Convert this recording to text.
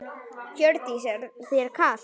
Hjördís: Er þér kalt?